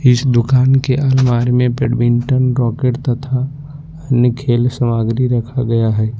इस दुकान के अलमारी में बैडमिंटन रॉकेट तथा अन्य खेल सामग्री रखा गया है।